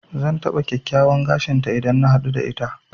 Zan taɓa kyakkyawan gashin ta idan na haɗu da ita.